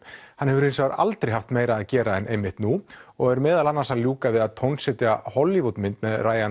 hann hefur hins vegar aldrei haft meira að gera en nú og er meðal annars að ljúka við að Hollywood mynd með